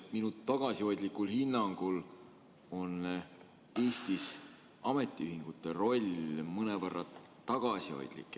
Minu tagasihoidlikul hinnangul on Eestis ametiühingute roll mõnevõrra tagasihoidlik.